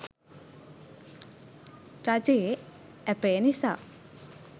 රජයේ ඇපය නිසා